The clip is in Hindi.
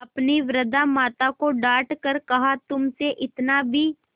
अपनी वृद्धा माता को डॉँट कर कहातुमसे इतना भी